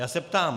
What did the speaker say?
Já se ptám.